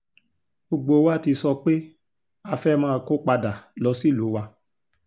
gbogbo wa ti sọ pé a fẹ́ẹ́ máa kó padà lọ sílùú wa